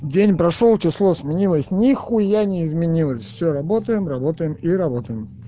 день прошёл число сменилось нехуя не изменилось все работаем работаем и работаем